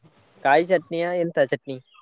ಕಾಯ್ ಚಟ್ನಿಯಾ ಎಂತ ಚಟ್ನಿ?